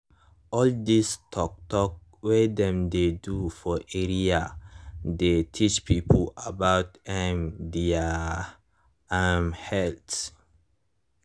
all this tok tok wey dem dey do for area dey teach people about um their um health.